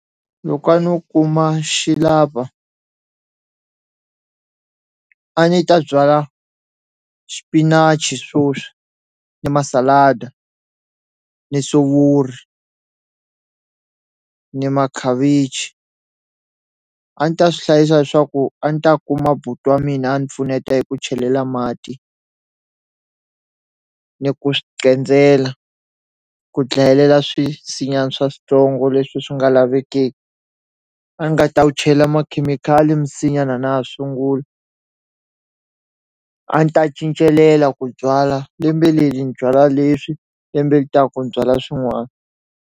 Loko a no kuma xi lava a ni ta byala xipinachi swoswi ni masalada ni sovori ni makhavichi a ni ta swi hlayisa leswaku a ni ta kuma buti wa mina a ni pfuneta hi ku chelela mati ni ku swi ku dlayelela swisinyana swa switsongo leswi swi nga lavekeki a ni nga ta wu chela makhemikhali misinya na na ha ya sungula a ni ta cincelela ku byala lembe leli ni byala leswi lembe li taku ni byala swin'wani.